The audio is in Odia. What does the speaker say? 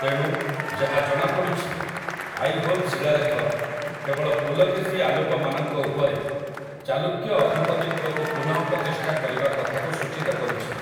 ତେଣୁ, ଯାହା ଜଣାପଡ଼ୁଛି, ଆଇହୋଲ ଶିଳାଲେଖ କେବଳ ପୁଲକେଶୀ ଆଲୁପମାନଙ୍କ ଉପରେ ଚାଲୁକ୍ୟ ଅଧିପତିତ୍ୱକୁ ପୁନଃପ୍ରତିଷ୍ଠା କରିବା କଥାକୁ ସୂଚିତ କରୁଛି ।